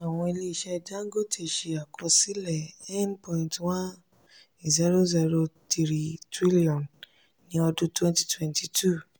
àwọn ilé-iṣẹ́ dangote ṣe àkọsílẹ̀ n1.008 trillion ní ọdún 2022.